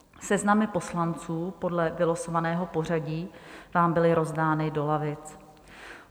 Seznamy poslanců podle vylosovaného pořadí vám byly rozdány do lavic.